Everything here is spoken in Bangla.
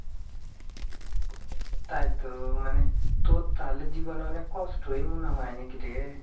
তাইতো, মানে, তোর তাহলে জীবনে অনেক কষ্টই মনে হয় নাকি রে ?